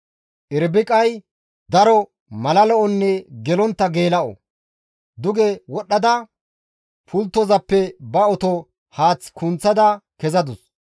Irbiqay daro mala lo7onne gelontta geela7o. Duge wodhdhada pulttozappe ba oto haath kunththada kezadus.